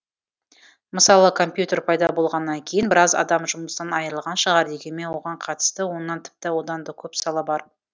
мысалы компьютер пайда болғаннан кейін біраз адам жұмысынан айырылған шығар дегенмен оған қатысты оннан тіпті одан да көп сала бар